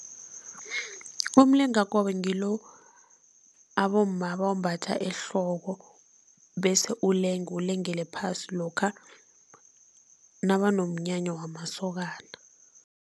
Umlingakobe ngilo abomma abawumbatha ehloko bese ulenge, ulengele phasi, lokha nabanomnyanya wamasokana.